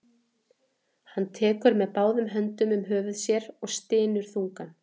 Hann tekur með báðum höndum um höfuð sér og stynur þungan.